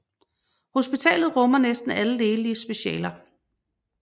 Hospitalet rummer næsten alle lægelige specialer